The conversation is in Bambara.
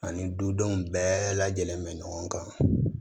Ani dudenw bɛɛ lajɛlen bɛ ɲɔgɔn kan